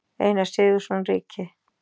Einar Sigurðsson ríki.